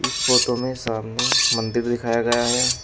इस फोटो में सामने मंदिर दिखाया गया है।